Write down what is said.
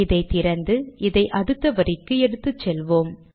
இதை திறந்து இதை அடுத்த வரிக்கு எடுத்துச்செல்வோம்